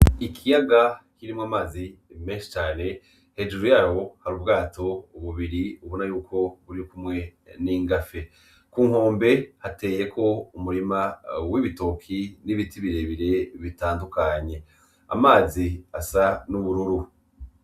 Ikiyaga kirimwo amazi menshi cane hejuru yaho hari ubwato bubiri ubona yuko birikumwe n'ingafe kunkombe hateyeko Umurima w'ibitoke n'ibiti birebire bitandukanye amazi asa n'ubururu.